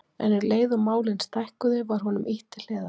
En um leið og málin stækkuðu var honum ýtt til hliðar.